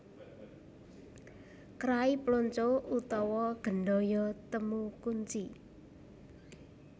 Krai Plonco utawa Gendhoyo Temu Kunci